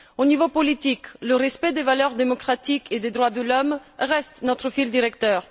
Au niveau politique, le respect des valeurs démocratiques et des droits de l'homme reste notre fil directeur.